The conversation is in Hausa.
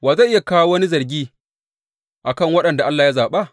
Wa zai kawo wani zargi a kan waɗanda Allah ya zaɓa?